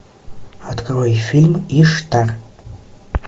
открой фильм иштар